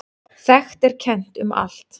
Þekkt er kennt um allt.